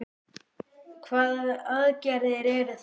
Hvaða aðgerðir eru það?